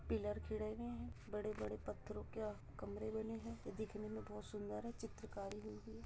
pillar खड़े हुए है बड़े-बड़े पत्थरों के कमरे बने हैं दिखने में बहुत सुन्दर है चित्रकारी --